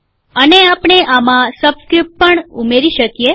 અને આપણે આમાં સબસ્ક્રીપ્ટ પણ ઉમેરી શકીએ